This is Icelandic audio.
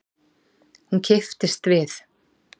Hún kipptist við.